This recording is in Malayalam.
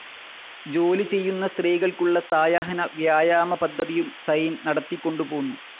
ജോലി ചെയ്യുന്ന സ്ത്രീകൾക്കുള്ള സായാഹ്ന വ്യായാമപദ്ധതിയും സൈൻ നടത്തിക്കൊണ്ടുപോന്നു.